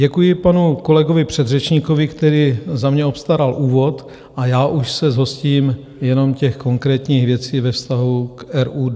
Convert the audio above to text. Děkuji panu kolegovi předřečníkovi, který za mě obstaral úvod, a já už se zhostím jenom těch konkrétních věcí ve vztahu k RUD.